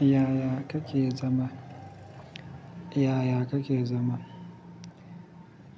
Yaya kake zama? Yaya kake zama?